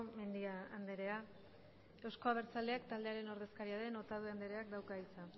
mendia andrea euzko abertzaleak taldearen ordezkaria den otadui andreak dauka hitza